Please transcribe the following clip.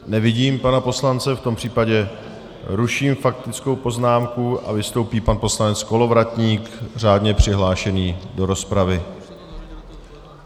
Nevidím pana poslance, v tom případě ruším faktickou poznámku a vystoupí pan poslanec Kolovratník, řádně přihlášený do rozpravy.